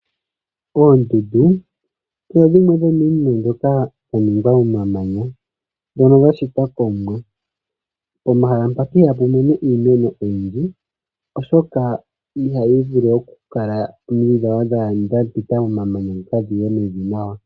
Oondundu odho dhimwe dhomiinima mbyoka yaningwa momamanya, ndhono dhashitwa komuwa. Pomahala mpaka ihapu mene iimeno oyindji, oshoka ihayi vulu okukala omidhi dhapita momamanya moka dhiye mevi nawa.